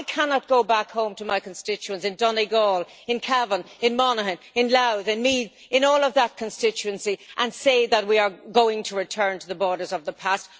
I cannot go back home to my constituents in Donegal, in Cavan, in Monaghan, in Louth, in Meath, in all of that constituency, and say that we are going to return to the borders of the past.